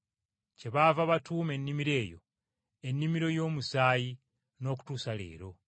Kyebaava batuuma ennimiro eyo, “Ennimiro y’Omusaayi” n’okutuusa leero.